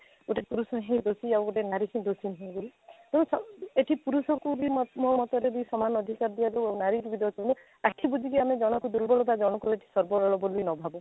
ଗୋଟେ ପୁରୁଷ ହିଁ ଦୋଷୀ ଆଉ ଗୋଟେ ନାରୀ କି ଦୋଷୀ ନୁହେଁ ବୋଲି ଏଇ ସବୁ ଏଠି ପୁରୁଷଙ୍କୁ ବି ମୋ ମତରେ ସମାନ ଅଧିକାର ଦିଆଯାଉ ଆଉ ନାରୀକୁ ବି ଦୋଷୀ ଆଖି ବୁଜିକି ଆମେ ଜଣକୁ ଦୁର୍ବଳ ଆଉ ଜଣକୁ ଶବଳ ବୋଲି ନ ଭାବୁ